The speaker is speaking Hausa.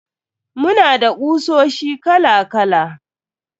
Muna da kusoshi kala kala.